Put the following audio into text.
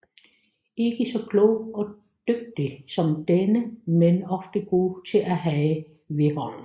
Ikke så klog og dygtig som denne men ofte god at have ved hånden